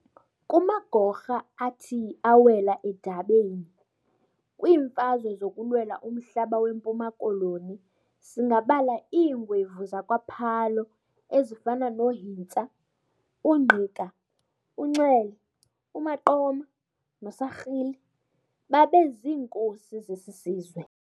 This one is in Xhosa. Kumagorha athi awela edabini kwiimfazwe zokulwela umhlaba weMpuma Koloni singabala iingwevu zakwa Phalo ezifana no Hintsa, uNgqika, uNxele, uMaqoma no Sarhili, babe ziinkosi zesi sizwe.